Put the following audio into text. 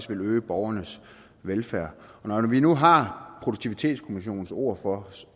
ville øge borgernes velfærd og når vi nu har produktivitetskommissionens ord for